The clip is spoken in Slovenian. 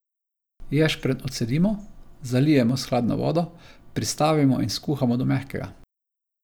Ješprenj odcedimo, zalijemo s hladno vodo, pristavimo in skuhamo do mehkega.